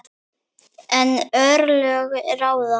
En örlög ráða.